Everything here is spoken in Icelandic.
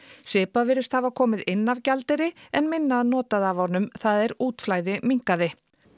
svipað virðist hafa komið inn af gjaldeyri en minna notað af honum það er útflæði minnkaði